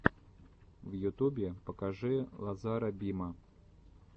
в ютубе покажи лазара бима